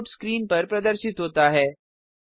output screen पर प्रदर्शित होता है